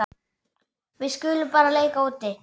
Við skulum bara leika úti.